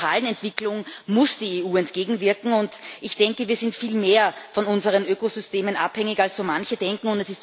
Dieser fatalen Entwicklung muss die EU entgegenwirken Ich denke, wir sind viel mehr von unseren Ökosystemen abhängig als so manche denken